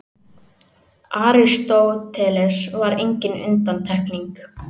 Aristóteles var engin undantekning.